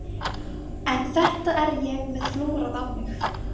Hlýindin nú torveldi smölunina hjá bændum